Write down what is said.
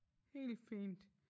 Helt fint